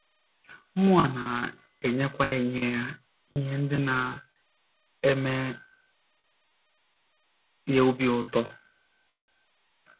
Mụnwa na - enyekwa ya ihe ya ihe ndị na - eme ya obi ụtọ.